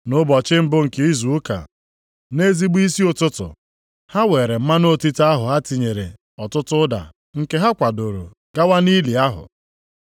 Nʼụbọchị mbụ nke izu ụka, nʼezigbo isi ụtụtụ, ha weere mmanụ otite ahụ ha tinyere ọtụtụ ụda nke ha kwadoro gawa nʼili ahụ.